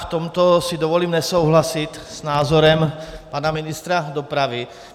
V tomto si dovolím nesouhlasit s názorem pana ministra dopravy.